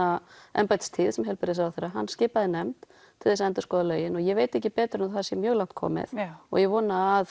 embættistíð sem heilbrigðisráðherra skipaði nefnd til þess að endurskoða lögin og ég veit ekki betur en að það sé mjög langt komið ég vona að